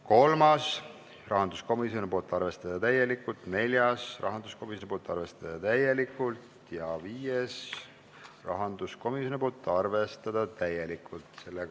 Kolmas, rahanduskomisjonilt, arvestada täielikult, neljas, rahanduskomisjonilt, arvestada täielikult, ja viies rahanduskomisjonilt, arvestada täielikult.